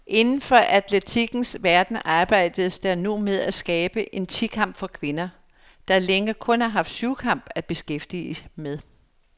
Inden for atletikkens verden arbejdes der nu med at skabe en ti kamp for kvinder, der længe kun har haft syvkamp at beskæftige med.